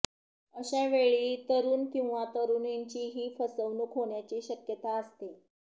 अशावेळी तरुण किंवा तरुणींचीही फसवणूक होण्याची शक्यता असते